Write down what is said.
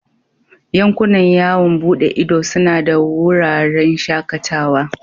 Yankunan yawon bude ido suna da wuraren shakatawa.